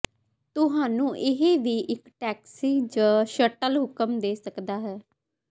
ਤੁਹਾਨੂੰ ਇਹ ਵੀ ਇੱਕ ਟੈਕਸੀ ਜ ਸ਼ਟਲ ਹੁਕਮ ਦੇ ਸਕਦਾ ਹੈ